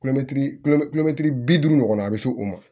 bi duuru ɲɔgɔn na a bɛ se o ma